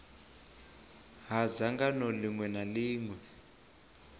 ha dzangano ḽiṅwe na ḽiṅwe